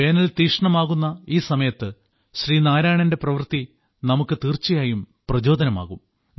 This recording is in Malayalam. വേനൽ തീക്ഷ്ണമാകുന്ന ഈ സമയത്ത് ശ്രീ നാരായണന്റെ പ്രവൃത്തി നമുക്ക് തീർച്ചയായും പ്രചോദനമാകും